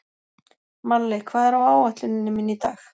Marley, hvað er á áætluninni minni í dag?